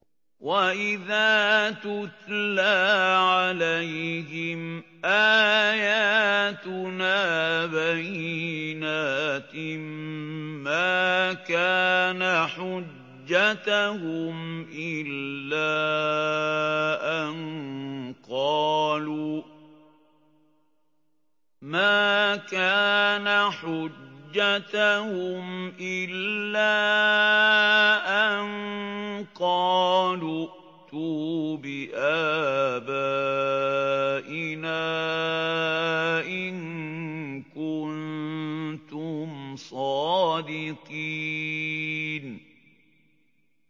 وَإِذَا تُتْلَىٰ عَلَيْهِمْ آيَاتُنَا بَيِّنَاتٍ مَّا كَانَ حُجَّتَهُمْ إِلَّا أَن قَالُوا ائْتُوا بِآبَائِنَا إِن كُنتُمْ صَادِقِينَ